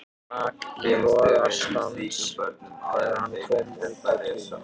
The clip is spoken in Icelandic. Rak í rogastans þegar hann kom út á Tún.